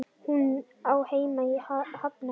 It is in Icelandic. Hún á heima í Hafnarfirði.